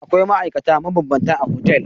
Akwai ma'aikata mabambanta a otel.